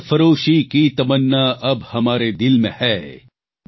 સરફરોશી કી તમન્ના અબ હમારે દિલ મે હૈ